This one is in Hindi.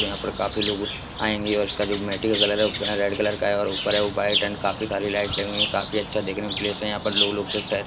यहाँ पर काफी लोग आएंगे और इसका जो मैटी का कलर है वो रेड कलर का है और ऊपर है वाइट एंड काफी सारी लाइट लगी हुई है काफी अच्छा देखने में प्लेस है यहाँ पर लोग लोग सब टह --